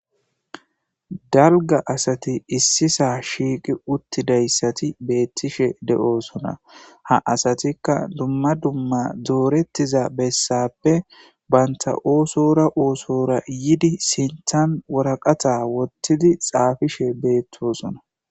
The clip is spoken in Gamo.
Dalga asati issisaa shiiqi uttidayssati beettishe de'oosona ha asatikka lumma dumma doorettiza bessappe banta oosora oosora yidi sinthan woraqata wottidi xaafishe beettosona